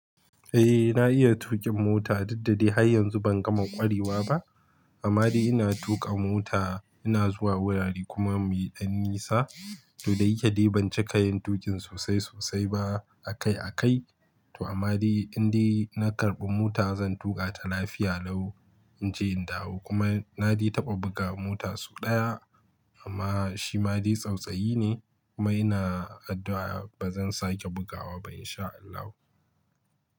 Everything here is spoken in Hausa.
Eh na iya tuƙin mota, dukda dai har yanzu ban gama ƙwarewa ba. Amma dai ina tuƙa mota, ina zuwa wurare kuma mai ɗan nisa. To da yake dai ban cika yin tuƙin sosai sosai ba akai akai. To ammade in dai na karɓi mota zan tuƙa ta lafiya lau. In je in dawo kuma na dai taɓa buga mota sau ɗaya amma shi ma dai tsautsayi ne kuma ina addu'a ba zan sake bugawa ba in sha Allahu.